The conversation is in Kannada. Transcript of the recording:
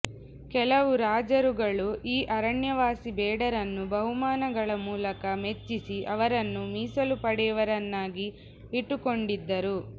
ಕೆಲವು ರಾಜರುಗಳು ಈ ಅರಣ್ಯವಾಸಿ ಬೇಡರನ್ನು ಬಹುಮಾನ ಗಳ ಮೂಲಕ ಮೆಚ್ಚಿಸಿ ಅವರನ್ನು ಮೀಸಲು ಪಡೆಯವರನ್ನಾಗಿ ಇಟ್ಟುಕೊಂಡಿದ್ದರು